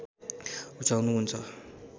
रुचाउनु हुन्छ